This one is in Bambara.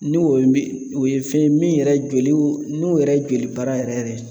Ni o ye min o ye fɛn ye min yɛrɛ joliw n'u yɛrɛ jolibara yɛrɛ yɛrɛ